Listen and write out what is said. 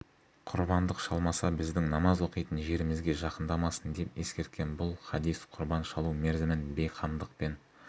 құрбандық шалмаса біздің намаз оқитын жерімізге жақындамасын деп ескерткен бұл хадис құрбан шалу мерзімін бейқамдықпен